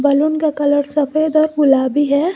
Balloon का colour सफेद और गुलाबी है।